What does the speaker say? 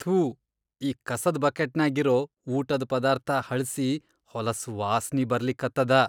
ಥೂ ಈ ಕಸದ್ ಬಕೆಟ್ನ್ಯಾಗ್ ಇರೋ ಊಟದ್ ಪದಾರ್ಥ ಹಳ್ಸಿ ಹೊಲಸ್ ವಾಸ್ನಿ ಬರ್ಲಿಕತ್ತದ.